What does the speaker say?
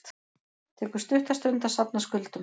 Tekur stutta stund að safna skuldum